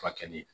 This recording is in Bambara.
Furakɛli